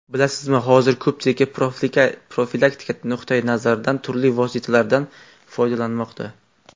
Bilasizmi, hozir ko‘pchilik profilaktika nuqtai nazaridan turli vositalardan foydalanmoqda.